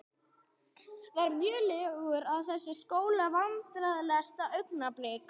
Var mjög lélegur í þessu skóla Vandræðalegasta augnablik?